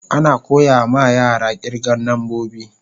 Ana koya ma yara kirgan nambobi.